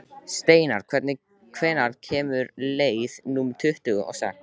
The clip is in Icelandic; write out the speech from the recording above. Steinar, hvenær kemur leið númer tuttugu og sex?